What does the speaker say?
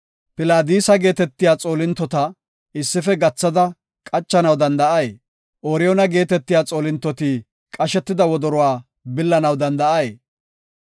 Pilaadisa geetetiya xoolintota issife gathada qachanaw danda7ay? Ooriyoona geetetiya xoolintoti qashetida wodoruwa billanaw danda7ay?